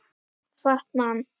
Fat Man